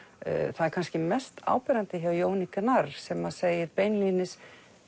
það er kannski mest áberandi hjá Jóni Gnarr sem segir beinlínis